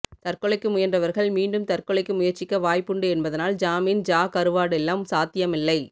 தற்கொலைக்கு முயன்றவர்கள் மீண்டும் தற்கொலைக்கு முயற்சிக்க வாய்ப்புண்டு என்பதால் ஜாமீன் ஜா கருவாடெல்லாம் சாத்தியமில்லை